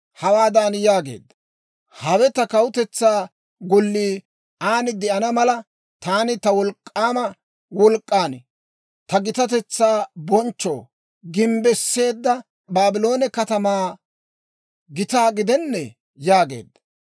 hawaadan yaageedda; Hawe ta kawutetsaa gollii aan de'ana mala, taani ta wolk'k'aama wolk'k'an, ta gitatetsaa bonchchoo gimbbisseedda Baabloone katamaa gitaa gidennee? yaageedda.